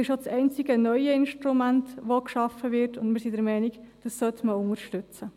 Es ist auch das einzige neue Instrument, das geschaffen wird, und wir sind der Meinung, das sollte man unterstützen.